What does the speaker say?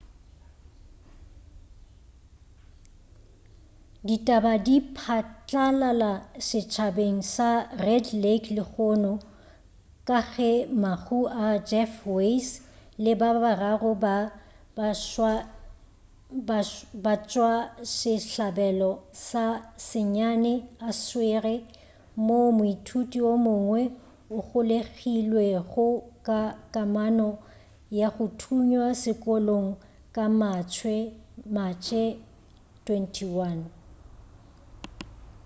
ditaba di phatlalala setšhabeng sa red lake lehono ka ge mahu a jeff weise le ba bararo ba batšwasehlabelo ba senyane a swerwe moo moithuti o mongwe a golegilwego ka kamano ya go thunywa sekolong ka matšhe 21